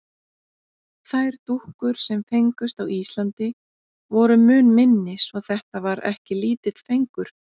Þær dúkkur, sem fengust á Íslandi, voru mun minni svo þetta var ekki lítill fengur.